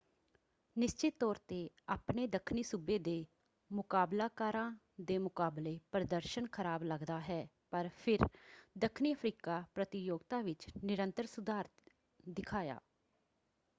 ਨਿਸ਼ਚਤ ਤੌਰ ‘ਤੇ ਆਪਣੇ ਦੱਖਣੀ ਸੂਬੇ ਦੇ ਮੁਕਾਬਲਾਕਾਰਾਂ ਦੇ ਮੁਕਾਬਲੇ ਪ੍ਰਦਰਸ਼ਨ ਖਰਾਬ ਲੱਗਦਾ ਹੈ ਪਰ ਫਿਰ ਦੱਖਣੀ ਅਫ਼ਰੀਕਾ ਪ੍ਰਤੀਯੋਗਤਾ ਵਿੱਚ ਨਿਰੰਤਰ ਸੁਧਾਰ ਦਿਖਾਇਆ।